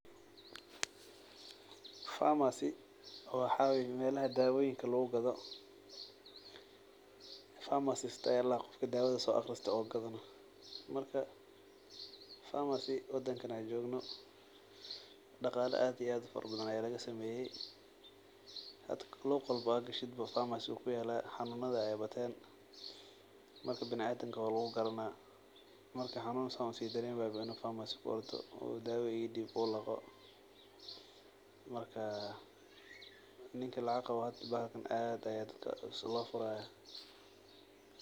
Pharmacy waxa waye melaha daawoyinka lugu gado, pharmacist aya ladhaha qofka daawoyinka soo aqriste oo gadaya, marka [xs]Pharmacy wadanka an jogno dhaqaala aad iyo aad ufara badan aya laga sameeye, hada luq walbo ad gashid wuu kuyaala xanuunada aya bateen, marka bini adanka waa lugu garanaa marki xanuun uu si dareemayo waa inu Pharmacy ku ordo uu daawa ii dhib uu laqo marka ninki lacag qabo bahalkan aad ba kuu cusub loo furaya